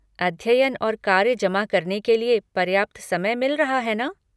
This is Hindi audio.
अध्ययन और कार्य जमा करने के लिए पर्याप्त समय मिल रहा है ना?